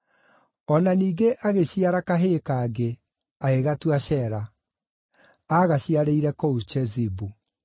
O na ningĩ agĩciara kahĩĩ kangĩ, agĩgatua Shela. Aagaciarĩire kũu Chezibu.